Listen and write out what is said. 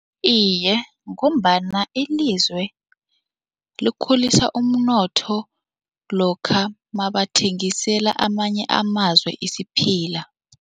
Iye, ngombana ilizwe likhulisa umnotho lokha mabathengisela amanye amazwe isiphila.